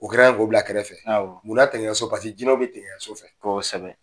O kɛra ko bila kɛrɛfɛ. Munna digiɲɛso ? jinɛw bɛ digiɲɛso fɛ. Kosɛbɛ.